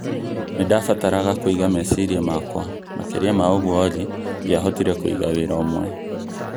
Nĩ ndabataraga kũiga meciria makwa makĩria ma ũguo olly ndiahotire kũiga wĩra ũmwe